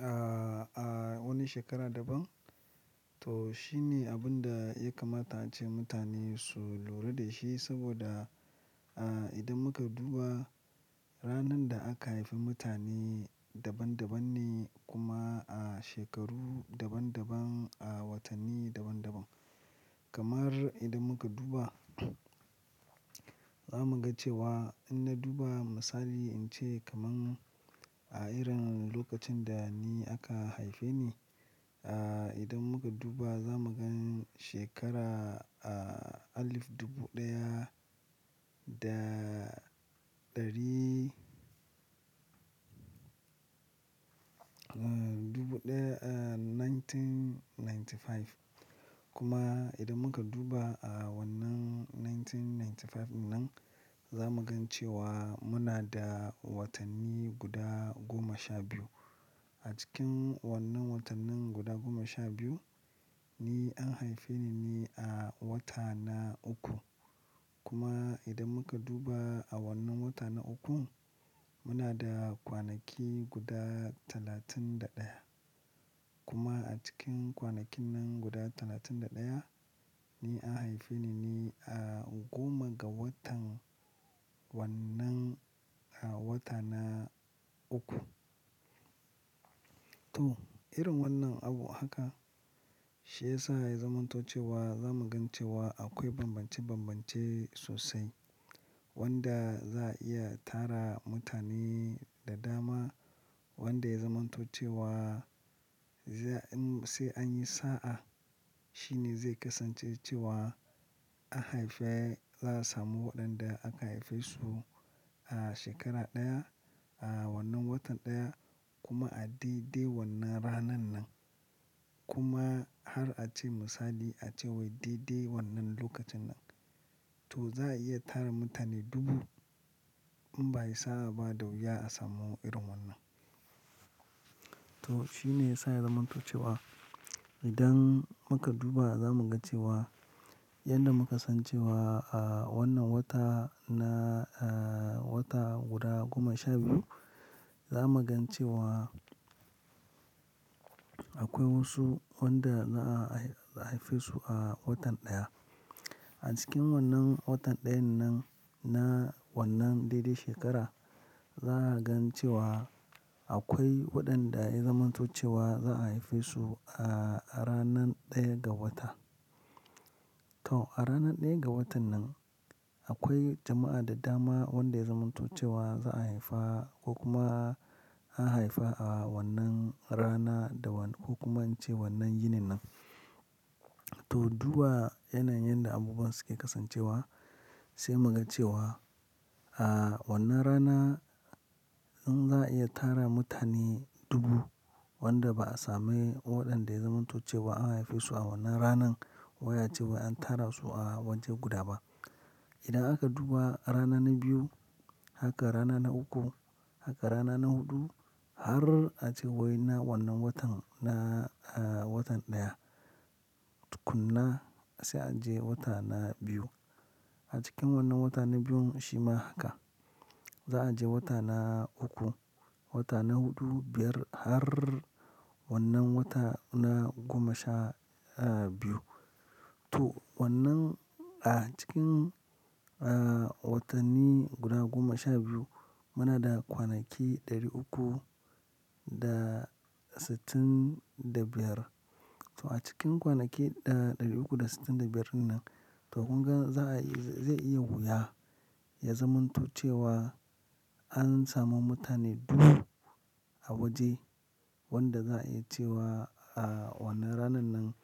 a, a wani shekara daban. To shine abun da ya kamata ace mutane su lura da shi saboda, a idan muka duba ranar da aka haifi mutane daban-daban ne kuma a shekaru daban-daban, a watanni daban-daban. Kamar idan muka duba za mu ga cewa in na duba misali in ce kaman a irin lokacin da ni aka haife ni, a idan muka duba za mu gani shekara alif dubu ɗaya da ɗari, a dubu ɗaya, 1995. Kuma idan muka duba a wannan 1995 nan za mu gani cewa muna da watanni guda goma sha biyu. A cikin wannan watannin guda goma sha biyu ni an haife ni ne a wata na uku. Kuma idan muka duba a wannan wata na ukun muna da kwanaki guda talatin da ɗaya. Kuma a cikin kwanaki nan guda talatin da ɗaya ni an haife ni ne a goma ga watan wannan a wata na uku. To irin wannan abu haka shi ya sa ya zamanto cewa za mu ga cewa akwai bambance-bambance sosai wanda za a iya tara mutane da dama wanda ya zamanto cewa sai, an sai an yi sa'a shine zai kasance cewa an haife, za a samu waɗanda aka haife su a shekara ɗaya, a wannan watan ɗaya kuma a daidai wannan ranar nan. Kuma har a ce misali a ce wai daidai wannan lokacin nan. To za a iya tara mutane dubu in ba ai sa'a ba da wuya a samu irin wannan. To shine ya sa ya zamanto cewa idan muka duba za mu ga cewa yanda muka san cewa a wannan wata na, wata guda goma sha biyu za mu gani cewa akwai wasu wanda za a haife su a watan ɗaya. A cikin wannan watan ɗayan nan na wannan daidai shekara za a ga cewa akwai waɗanda ya zamanto cewa za a haife su a ranar ɗaya ga wata. To a ranar ɗaya ga watan nan akwai jama'a da dama wanda ya zamanto cewa za a haifa ko kuma an haifa a wannan rana da kuma in ce wannan yinin nan. To duba yanayin yadda abubuwan suke kasancewa sai mu ga cewa a wannan rana in za a iya tara mutane dubu wanda ba a samu ko waɗanda ya zamanto cewa an haife su a wannan ranan. Wai a ce wai an tara su a waje guda ba. Idan aka duba rana na biyu, haka rana na uku, haka rana na huɗu har a ce wai na wannan watan na, a watan ɗaya. Kuma sai a je wata na biyu. A cikin wannan wata na biyun shi ma haka. Za a je wata na uku, wata na huɗu, biyar har wannan wata na goma sha, a biyu. To wannan a cikin a watanni guda goma sha biyu muna da kwanaki ɗari uku da sittin da biyar. To a cikin kwanaki da ɗari uku da sittin da biyar nan to kun ga za a iya, zai iya wuya ya zamanto cewa an samu mutane dubu a waje wanda za a iya cewa a wannan ranan nan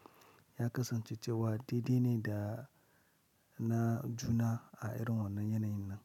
ya kasance cewa daidai ne da na juna a irin wannan yanayin nan.